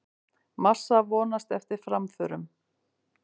Massa vonast eftir framförum